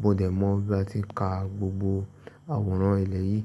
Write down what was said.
bọdẹ. Mo mọ̀ bí a ti ń ka gbogbo àwòrán ilẹ̀ yìí.